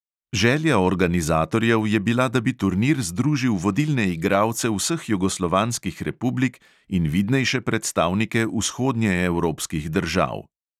Želja organizatorjev je bila, da bi turnir združil vodilne igralce vseh jugoslovanskih republik in vidnejše predstavnike vzhodnjeevropskih držav.